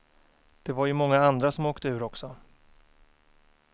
Det var ju många andra som åkte ur också.